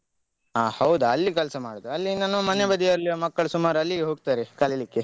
ಅ ಹೌದಾ ಅಲ್ಲಿ ಕೆಲಸ ಮಾಡುದಾ ಅಲ್ಲಿ ನಮ್ಮ ಮನೆ ಬದಿಯಲ್ಲಿರುವ ಮಕ್ಕಳು ಸುಮಾರು ಅಲ್ಲಿಗೆ ಹೋಗ್ತಾರೆ ಕಲೀಲಿಕ್ಕೆ.